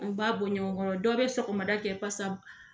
An b'a ɲɔgɔn kɔrɔ dɔw bɛ sɔgɔmada kɛ